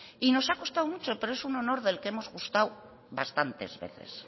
y nos ha costado mucho pero es un honor del que hemos gustado bastantes veces